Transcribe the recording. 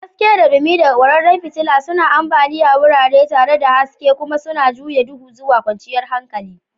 Haske da dumi daga kwararan fitila suna ambaliya wurare tare da haske kuma suna juya duhu zuwa kwanciyar hankali.